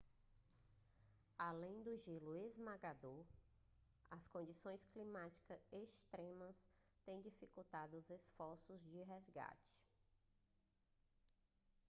além do gelo esmagador as condições climáticas extremas têm dificultado os esforços de resgate